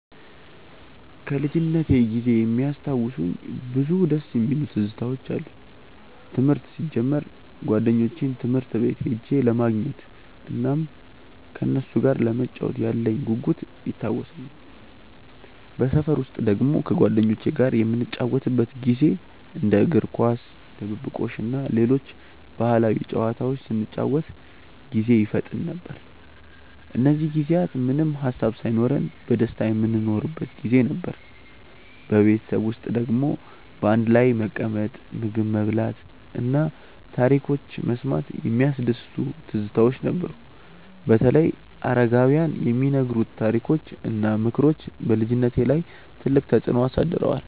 ከልጅነቴ ጊዜ የሚያስታውሱኝ ብዙ ደስ የሚሉ ትዝታዎች አሉኝ። ትምህርት ሲጀምር ጓደኞቼን ትምህርት ቤት ሄጄ ለማግኘት እናም ከነሱ ጋር ለመጫወት ያለኝ ጉጉት ይታወሰኛል። በሰፈር ውስጥ ደግሞ ከጓደኞቼ ጋር የምንጫወትበት ጊዜ እንደ እግር ኳስ፣ ድብብቆሽ እና ሌሎች ባህላዊ ጨዋታዎች ስንጫወት ጊዜ ይፈጠን ነበር። እነዚህ ጊዜያት ምንም ሃሳብ ሳይኖርብን በደስታ የምንኖርበት ጊዜ ነበር። በቤተሰብ ውስጥ ደግሞ በአንድ ላይ መቀመጥ፣ ምግብ መብላት እና ታሪኮች መስማት የሚያስደስቱ ትዝታዎች ነበሩ። በተለይ አረጋውያን የሚነግሩት ታሪኮች እና ምክሮች በልጅነቴ ላይ ትልቅ ተፅዕኖ አሳድረዋል።